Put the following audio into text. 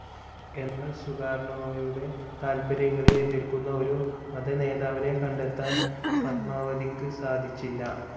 എന്നാൽ സുകാർണോയുടെ താൽപര്യങ്ങളെ എതിർക്കുന്ന ഒരു മതനേതാവിനെ കണ്ടെത്താൻ ഫത്മാവതിക്ക് സാധിച്ചില്ല.